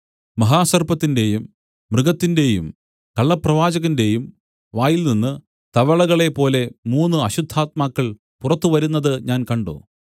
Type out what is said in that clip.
മഹാസർപ്പത്തിന്റെയും മൃഗത്തിന്റെയും കള്ളപ്രവാചകന്റെയും വായിൽനിന്ന് തവളകളെപ്പോലെ മൂന്നു അശുദ്ധാത്മാക്കൾ പുറത്തു വരുന്നത് ഞാൻ കണ്ട്